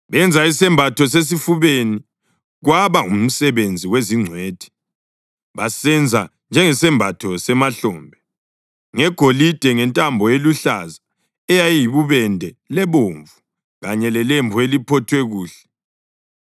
Benza isembatho sesifubeni, kwaba ngumsebenzi wezingcwethi. Basenza njengesembatho semahlombe: ngegolide, ngentambo eluhlaza, eyibubende lebomvu, kanye lelembu eliphothwe kuhle.